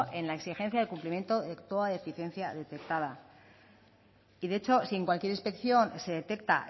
en la exigencia del cumplimiento de toda deficiencia detectada y de hecho si en cualquier inspección se detecta